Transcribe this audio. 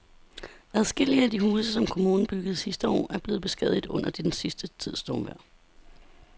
Adskillige af de huse, som kommunen byggede sidste år, er blevet beskadiget under den sidste tids stormvejr.